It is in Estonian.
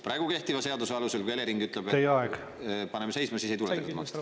Praegu kehtiva seaduse alusel, kui Elering ütleb, et paneme seisma, siis ei tule kinni maksta.